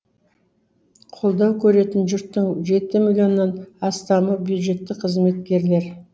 қолдау көретін жұрттың жеті миллионнан астамы бюджеттік қызметкер